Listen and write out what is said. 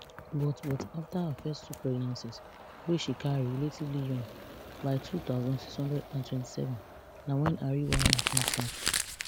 but but afta her first two pregnancies wey she carry relatively young by two thousand, six hundred and twenty-seven na wen her real wahala come start